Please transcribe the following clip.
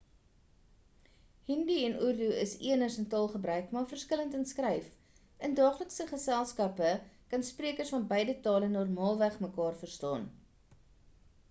hindi en urdu is eners in taalgebruik maar verskillend in skryf in daaglike geselskappe kan sprekers van beide tale normaalweg mekaar verstaan